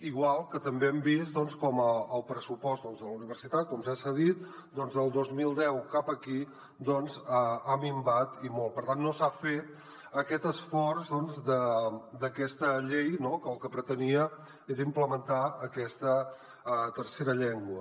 igual que també hem vist com el pressupost de la universitat doncs com ja s’ha dit del dos mil deu cap aquí ha minvat i molt per tant no s’ha fet aquest esforç d’aquesta llei no que el que pretenia era implementar aquesta tercera llengua